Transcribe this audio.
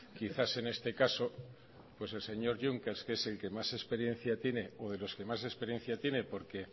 quizás en este caso el señor juncker que es el que más experiencia tiene o de los que más experiencia tiene porque